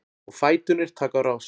Og fæturnir taka á rás.